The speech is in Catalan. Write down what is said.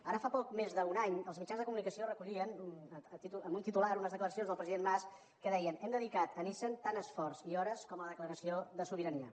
ara fa poc més d’un any els mitjans de comunicació recollien amb un titular unes declaracions del president mas que deien hem dedicat a nissan tant esforç i hores com a la declaració de sobirania